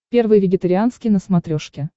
первый вегетарианский на смотрешке